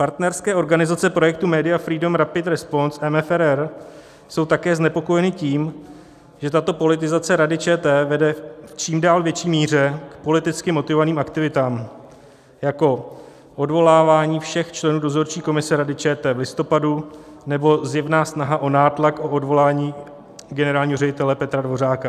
Partnerské organizace projektu Media Freedom Rapid Response - MFRR jsou také znepokojeny tím, že tato politizace Rady ČT vede v čím dál větší míře k politicky motivovaným aktivitám jako odvolávání všech členů Dozorčí komise Rady ČT v listopadu nebo zjevná snaha o nátlak na odvolání generálního ředitele Petra Dvořáka.